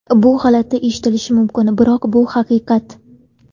Bu g‘alati eshitilishi mumkin, biroq bu haqiqat.